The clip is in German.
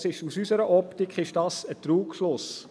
Das ist aus unserer Optik ein Trugschluss.